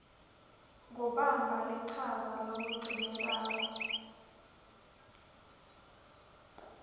kubamba lichaza lokugcinekako